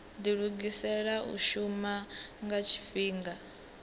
dilugisela u shuma nga tshifhinga